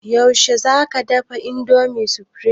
Yaushe za ka dafa indomie supreme?